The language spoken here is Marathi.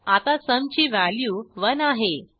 आता सुम ची व्हॅल्यू 1आहे